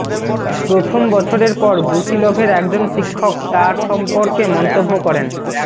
প্রথম বছরের পর ব্রুসিলভের একজন শিক্ষক তার সম্পর্কে মন্তব্য করেন